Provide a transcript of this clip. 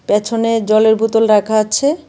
পেছনে জলের বোতল রাখা আছে।